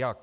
Jak?